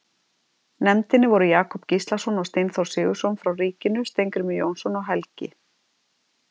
nefndinni voru Jakob Gíslason og Steinþór Sigurðsson frá ríkinu, Steingrímur Jónsson og Helgi